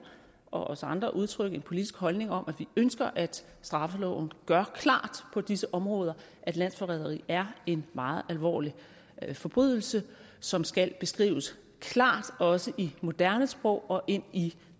og os andre udtrykke en politisk holdning om at vi ønsker at straffeloven gør klart på disse områder at landsforræderi er en meget alvorlig forbrydelse som skal beskrives klart også i moderne sprog og ind i